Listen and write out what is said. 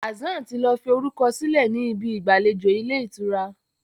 Hassan tí lọ fí orukọ sílẹ ní Ibi ìgbàlejò Ilé-ìtura.